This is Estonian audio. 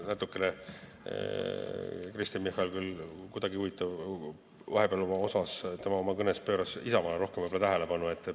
Natukene Kristen Michal, huvitav küll, pööras vahepeal oma kõnes Isamaale rohkem tähelepanu.